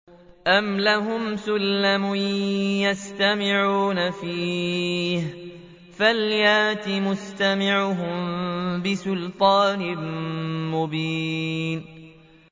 أَمْ لَهُمْ سُلَّمٌ يَسْتَمِعُونَ فِيهِ ۖ فَلْيَأْتِ مُسْتَمِعُهُم بِسُلْطَانٍ مُّبِينٍ